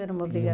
Era uma